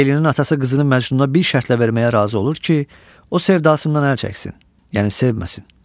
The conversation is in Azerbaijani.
Leylinin atası qızını Məcnuna bir şərtlə verməyə razı olur ki, o sevdasından əl çəksin, yəni sevməsin.